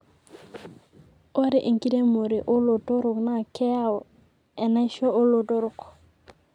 ore enkiremore olotorok na keyau enaisho olotorok